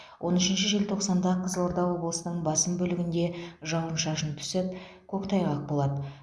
он үшінші желтоқсанда қызылорда облысының басым бөлігінде жауын шашын түсіп көктайғақ болады